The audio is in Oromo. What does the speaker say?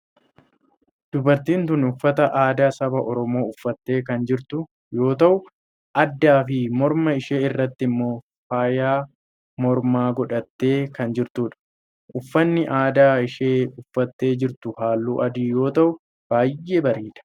Dubartiin tun uffata aadaa saba oromoo uffattee kan jirtu yoo ta'u addaa fi morma ishee irratti immoo faaya oromoo godhattee kan jirtudha. uffanni aadaa isheen uffattee jirtu halluu adii yoo ta'u baayyee bareeda.